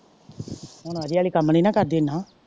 ਹੁਣ ਇਹਦੇ ਵਾਲੀ ਕੰਮ ਨੀ ਨਾ ਕਰਦੀ ਇੰਨਾ।